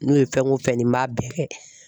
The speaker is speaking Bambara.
N'o ye fɛn o fɛn di n m'a bɛɛ kɛ